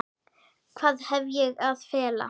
Hvað hef ég að fela?